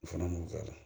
O fana b'o k'a la